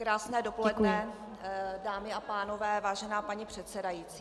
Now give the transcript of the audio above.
Krásné dopoledne, dámy a pánové, vážená paní předsedající.